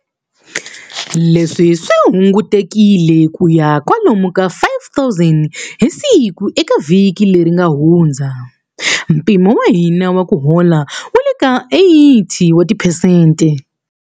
Leswi swi hungutekile ku ya kwalomu ka 5,000 hi siku eka vhiki leri nga hundza. Mpimo wa hina wa ku hola wu le ka 80 wa tiphesente.